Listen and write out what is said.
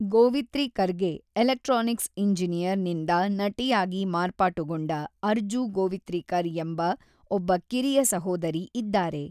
ಗೋವಿತ್ರಿಕರ್‌ಗೆ electronics engineer ನಿಂದ ನಟಿಯಾಗಿ ಮಾರ್ಪಾಟುಗೊಂಡ ಅರ್ಜೂ ಗೋವಿತ್ರಿಕರ್ ಎಂಬ ಒಬ್ಬ ಕಿರಿಯ ಸಹೋದರಿ ಇದ್ದಾರೆ.